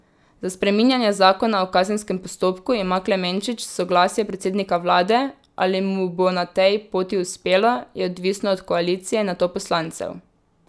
Za spreminjanje zakona o kazenskem postopku ima Klemenčič soglasje predsednika vlade, ali mu bo na tej poti uspelo, je odvisno od koalicije in nato poslancev.